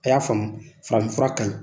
A' y'a faamuya farafin fura ka ɲi.